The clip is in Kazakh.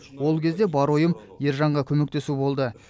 ол кезде бар ойым ержанға көмектесу болды